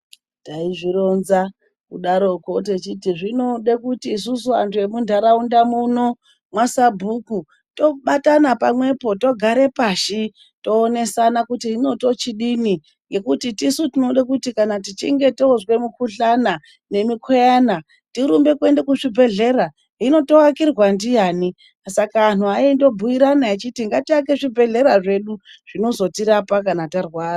Taizvironza kudarokwo techiti zvinode isusu vanthu vemunharaunda muno mwasabhuku, tobatana pamwepo togare pashi, toonesana kuti hino tochidini ngekuti tisu tinoti kana tichinge toozwa mukuhlwani, nemukhuyana tinorumbe kuende kuzvibhedhlera. Hino tookirwa ndiani? Saka anthu aindobhuirana echiti ngatiake zvibhedhlera zvedu zvinozotirapa kana tarwara.